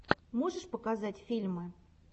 можешь показать фильмы